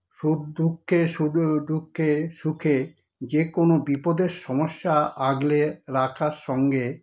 সুখ দুঃখে সুখ দুঃখের সুখ যেকোনো বিপদের সমস্যা আগলে রাখার সঙ্গে